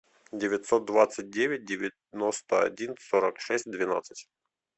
девятьсот двадцать девять девяносто один сорок шесть двенадцать